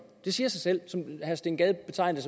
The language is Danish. det siger sig selv herre steen gade betegnede